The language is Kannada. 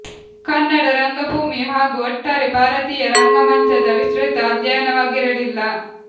ಕನ್ನಡ ರಂಗಭೂಮಿ ಹಾಗು ಒಟ್ಟಾರೆ ಭಾರತಿಯ ರಂಗ ಮಂಚದ ವಿಸ್ತೃತ ಅಧ್ಯಯನವಾಗಿರಲಿಲ್ಲ